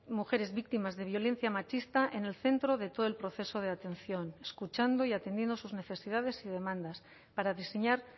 mujeres víctimas de violencia machista en el centro de todo el proceso de atención escuchando y atendiendo sus necesidades y demandas para diseñar